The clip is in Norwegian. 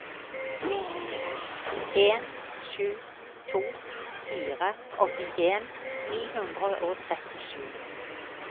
en sju to fire åttien ni hundre og trettisju